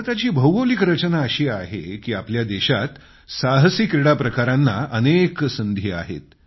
भारताची भौगोलिक रचना अशी आहे की आपल्या देशात साहसी क्रीडा प्रकारांना अनेक संधी आहेत